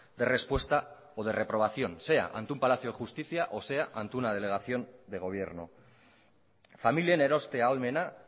de respuesta o de reprobación sea ante un palacio de justicia o sea ante una delegación de gobierno familien eroste ahalmena